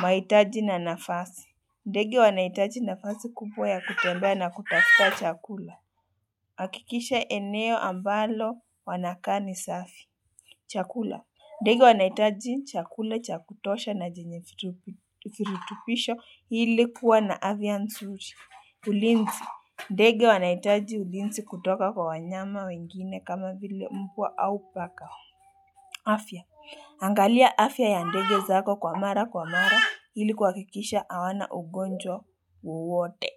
Maitaji na nafasi. Ndege wanaitaji nafasi kubwa ya kutembea na kutafuta chakula. Hakikisha eneo ambalo wanakaa ni safi. Chakula ndege wanaitaji chakula cha kutosha na jenye firutupisho ili kuwa na avia nzuri. Ulinsi ndege wanaitaji ulinsi kutoka kwa wanyama wengine kama vile mbwa au paka. Afya angalia afya ya ndege zako kwa mara kwa mara ili kuhakikisha awana ugonjwa wowote.